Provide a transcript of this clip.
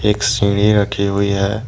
एक सीढ़ी रखी हुई है।